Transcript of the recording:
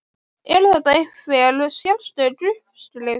Er þetta einhver sérstök uppskrift?